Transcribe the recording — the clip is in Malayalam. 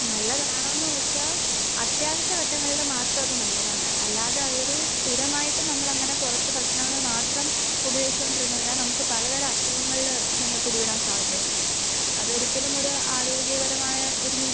നല്ലതാണോ എന്ന് ചോദിച്ചാൽ അത്യാവശ്യഘട്ടങ്ങളിൽ മാത്രം അത് നല്ലതാണ്. അല്ലാതെ അതൊരു സ്ഥിരമായിട്ട് നമ്മൾ അങ്ങനെ പുറത്തെ ഭക്ഷണങ്ങൾ മാത്രം ഉപയോഗിച്ചുകൊണ്ടിരുന്നു കഴിഞ്ഞാൽ നമുക്ക് പല തരം അസുഖങ്ങളിൽ ചെന്ന് പിടിപെടുവാൻ സാധ്യതയുണ്ട്. അതൊരിക്കലും ഒരു ആരോഗ്യപരമായ ഒരു നീക്കം